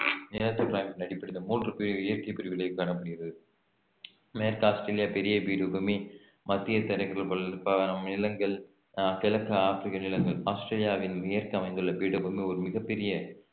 நிலத்தோற்ற அமைப்பின் அடிப்படையில் மூன்று பிரிவு இயற்கை பிரிவுகளை காணப்படுகிறது மேற்கு ஆஸ்திரேலியா பெரிய பீடபூமி மத்திய நிலங்கள் அஹ் கிழக்கு ஆப்பிரிக்க நிலங்கள் ஆஸ்திரேலியாவின் மேற்கு அமைந்துள்ள பீடபூமி ஒரு மிகப் பெரிய